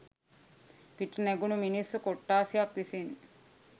පිට නැගුන මිනිස්සු කොට්ථාශයක් විසින්.